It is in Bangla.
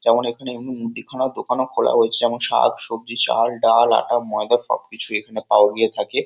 যেমন এখানে উম মুদিখানার দোকানও খোলা হয়েছে যেমন শাক-সবজি চাল ডাল আটা ময়দা সবকিছুই এখানে পাওয়া গিয়ে থাকে ।